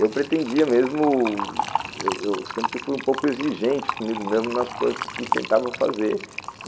Eu pretendia mesmo, eu eu sempre fui um pouco exigente comigo mesmo nas coisas que tentava fazer.